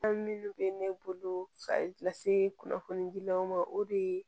An minnu bɛ ne bolo ka kunnafoni gilanw ma o de ye